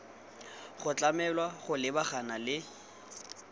go tlamelwa go lebagana le